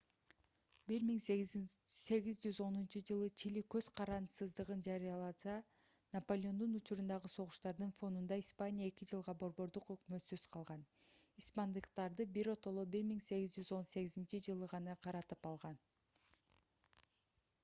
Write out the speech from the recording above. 1810-ж. чили көз карандысыздыгын жарыяласа да наполеондун учурундагы согуштардын фонунда испания эки жылга борбордук өкмөтсүз калган испандыктарды биротоло 1818-жылы гана каратып алган